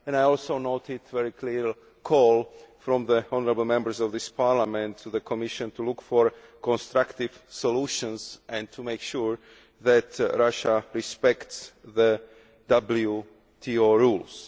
I also noted a very clear call from the honourable Members of this Parliament to the Commission to look for constructive solutions and to make sure that Russia respects WTO rules.